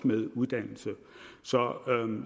med uddannelse så